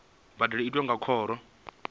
mbadelo i tiwa nga khoro